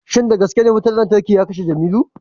shin da gaske ne wutar lantarki ta kashe Jimilu